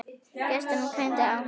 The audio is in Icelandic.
Gestina greindi á.